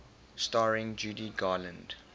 starring judy garland